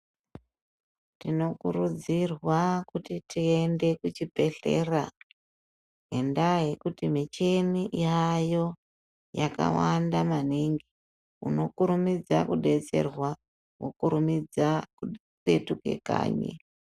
Tinokurudzirwa kuti tiende kuchibhedhlera, ngendaa yekuti michhini yaayo yakawanda maningi. Unokurumidza kudetserwa wokurumidza kupetuka kanyi.